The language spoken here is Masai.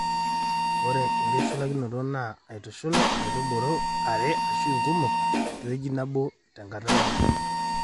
ore enkitushulakinoto naa aitushul nkaitubulu are ashu inkumok te wueji nebo te nkata nabo